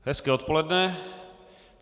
Hezké odpoledne.